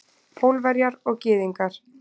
Pólverjar og Gyðingar.